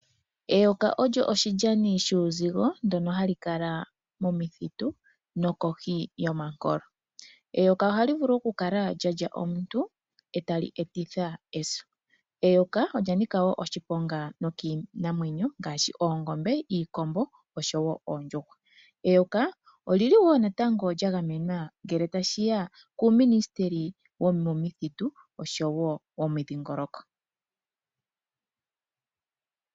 Eyoka olyo oshilyani shuuzigo ndyono hali kala momithitu nokohi yomankolo. Eyoka ohali vulu okukala lya lya omuntu e tali etitha eso. Eyoka olya nika wo oshiponga nokiinamwenyo ngaashi oongombe, iikombo oshowo oondjuhwa. Eyoka oli li wo lya gamenwa ngele tashi ya kUuminisiteli wOmidhingoloko.